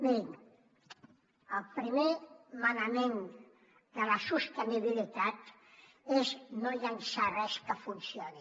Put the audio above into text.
mirin el primer manament de la sostenibilitat és no llençar res que funcioni